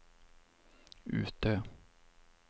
Utö